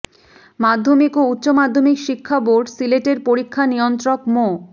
মাধ্যমিক ও উচ্চ মাধ্যমিক শিক্ষা বোর্ড সিলেটের পরীক্ষা নিয়ন্ত্রক মো